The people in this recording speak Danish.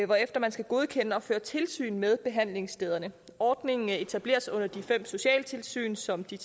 hvorefter man skal godkende og føre tilsyn med behandlingsstederne ordningen etableres under de fem socialtilsyn som de